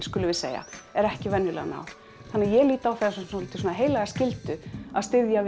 skulum við segja er ekki venjulega að ná þannig að ég lít á það sem svolítið svona heilaga skyldu að styðja